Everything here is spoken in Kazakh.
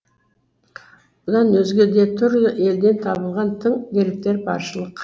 бұдан өзге де түрлі елден табылған тың деректер баршылық